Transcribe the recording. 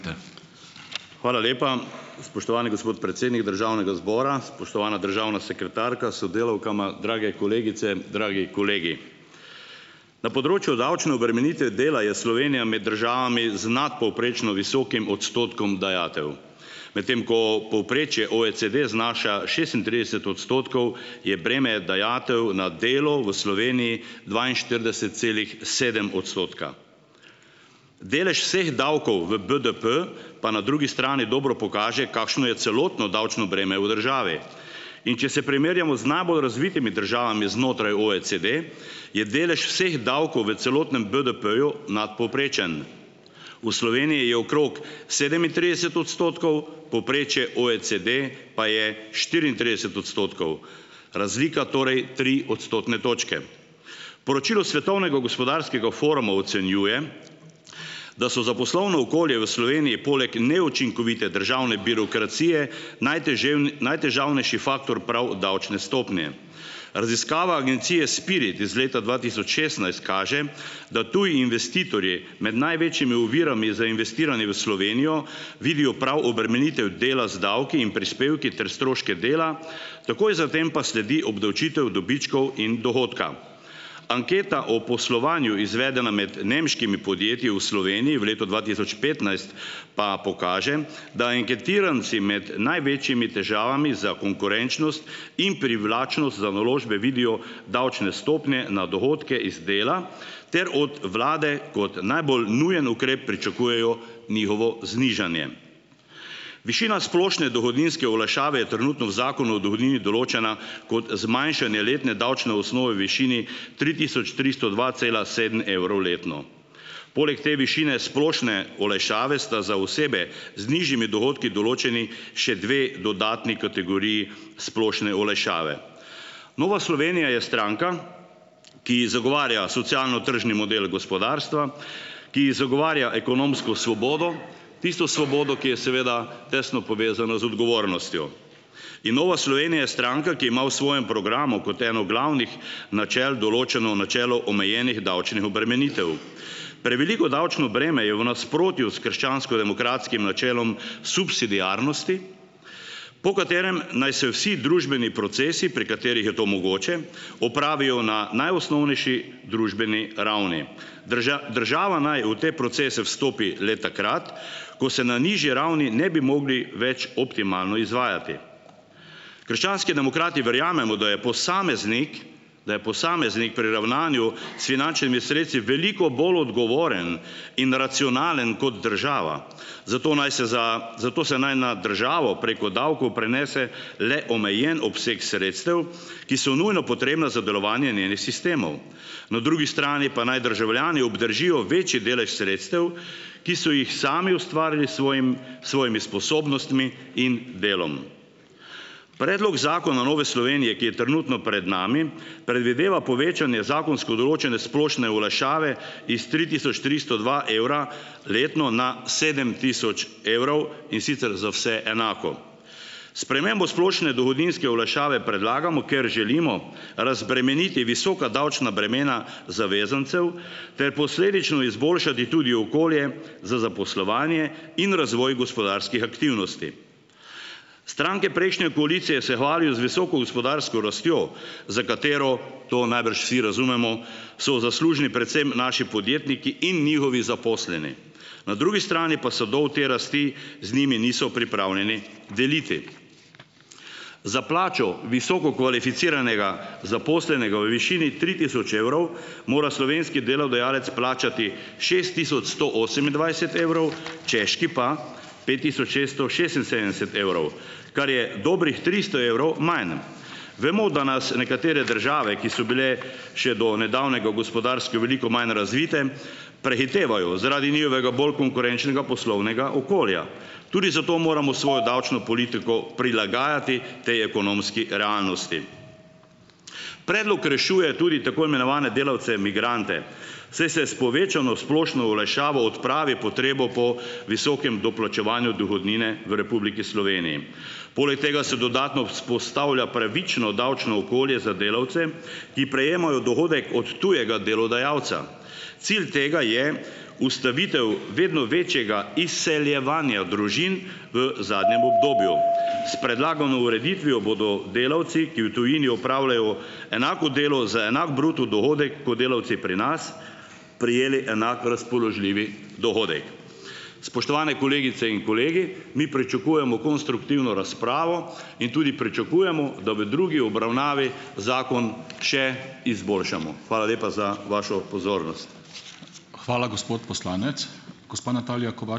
Hvala lepa. Spoštovani gospod predsednik državnega zbora, spoštovana državna sekretarka s sodelavkama, drage kolegice, dragi kolegi! Na področju davčne obremenitve dela je Slovenija med državami z nadpovprečno visokim odstotkom dajatev. Medtem ko povprečje OECD znaša šestintrideset odstotkov, je breme dajatev na delo v Sloveniji dvainštirideset celih sedem odstotka. Delež vseh davkov v BDP pa na drugi strani dobro pokaže, kakšno je celotno davčno breme v državi. In če se primerjamo z najbolj razvitimi državami znotraj OECD, je delež vseh davkov v celotnem BDP-ju nadpovprečen. V Sloveniji je okrog sedemintrideset odstotkov, povprečje OECD pa je štiriintrideset odstotkov, razlika torej tri odstotne točke. Poročilo Svetovnega gospodarskega foruma ocenjuje, da so za poslovno okolje v Sloveniji poleg neučinkovite državne birokracije, najtežavnejši faktor prav davčne stopnje. Raziskava Agencije Spirit iz leta dva tisoč šestnajst kaže, da tudi investitorji med največjimi ovirami za investiranje v Slovenijo vidijo prav obremenitev dela z davki in prispevki ter stroške dela, takoj za tem pa sledi obdavčitev dobičkov in dohodka. Anketa o poslovanju, izvedena med nemškimi podjetji v Sloveniji v letu dva tisoč petnajst, pa pokaže, da anketiranci med največjimi težavami za konkurenčnost in privlačnost za naložbe vidijo davčne stopnje na dohodke iz dela ter od vlade kot najbolj nujen ukrep pričakujejo njihovo znižanje. Višina splošne dohodninske olajšave je trenutno v Zakonu o dohodnini določena kot zmanjšanje letne davčne osnove višini tri tisoč tristo dva cela sedem evrov letno. Poleg te višine splošne olajšave sta za osebe z nižjimi dohodki določeni še dve dodatni kategoriji splošne olajšave. Nova Slovenija je stranka, ki zagovarja socialno-tržni model gospodarstva, ki zagovarja ekonomsko svobodo, tisto svobodo, ki je seveda tesno povezana z odgovornostjo. In Nova Slovenija je stranka, ki ima v svojem programu kot eno glavnih načel določeno načelo omejenih davčnih obremenitev. Preveliko davčno breme je v nasprotju s krščanskodemokratskim načelom subsidiarnosti, po katerem naj se vsi družbeni procesi, pri katerih je to mogoče, opravijo na najosnovnejši družbeni ravni. država naj v te procese vstopi le takrat, ko se na najnižji ravni ne bi mogli več optimalno izvajati. Krščanski demokrati verjamemo, da je posameznik, da je posameznik pri ravnanju s finančnimi sredstvi veliko bolj odgovoren in racionalen kot država, zato naj se za, zato se naj na državo preko davkov prenese le omejen obseg sredstev, ki so nujno potrebna za delovanje njenih sistemov. Na drugi strani pa naj državljani obdržijo večji delež sredstev, ki so jih sami ustvarili s svojim, s svojimi sposobnostmi in delom. Predlog zakona Nove Slovenije, ki je trenutno pred nami, predvideva povečanje zakonsko določene splošne olajšave iz tri tisoč tristo dva evra letno na sedem tisoč evrov, in sicer za vse enako. Spremembo splošne dohodninske olajšave predlagamo, ker želimo razbremeniti visoka davčna bremena zavezancev ter posledično izboljšati tudi okolje za zaposlovanje in razvoj gospodarskih aktivnosti. Stranke prejšnje koalicije se hvalijo z visoko gospodarsko rastjo, za katero, to najbrž vsi razumemo, so zaslužni predvsem naši podjetniki in njihovi zaposleni. Na drugi strani pa sadov te rasti z njimi niso pripravljeni deliti. Za plačo visoko kvalificiranega zaposlenega v višini tri tisoč evrov, mora slovenski delodajalec plačati šest tisoč sto osemindvajset evrov, češki pa pet tisoč šesto šestinsedemdeset evrov, kar je dobrih tristo evrov manj. Vemo, da nas nekatere države, ki so bile še do nedavnega gospodarsko veliko manj razvite, prehitevajo zaradi njihovega bolj konkurenčnega poslovnega okolja. Tudi zato moramo svojo davčno politiko prilagajati potem ekonomski realnosti. Predlog rešuje tudi tako imenovane delavce migrante, saj se s povečano splošno olajšavo odpravi potrebo po visokem doplačevanju dohodnine v Republiki Sloveniji. Poleg tega se dodatno vzpostavlja pravično davčno okolje za delavce, ki prejemajo dohodek od tujega delodajalca. Cilj tega je ustavitev vedno večjega izseljevanja družin v zadnjem obdobju. S predlagano ureditvijo bodo delavci, ki v tujini opravljajo enako delo za enak bruto dohodek kot delavci pri nas, prejeli enako razpoložljivi dohodek. Spoštovane kolegice in kolegi! Mi pričakujemo konstruktivno razpravo in tudi pričakujemo, da v drugi obravnavi zakon še izboljšamo. Hvala lepa za vašo pozornost.